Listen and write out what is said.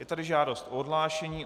Je tady žádost o odhlášení.